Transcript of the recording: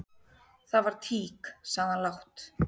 """Það var tík, sagði hann lágt."""